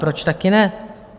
Proč také ne.